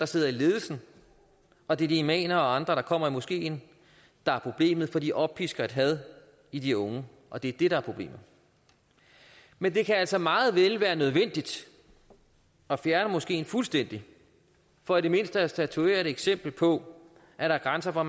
sidder i ledelsen og de imamer og andre der kommer i moskeen der er problemet for de oppisker et had i de unge og det er det der er problemet men det kan altså meget vel være nødvendigt at fjerne moskeen fuldstændig for i det mindste at statuere et eksempel på at der er grænser for